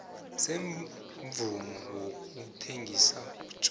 semvumo yokuthengisa utjwala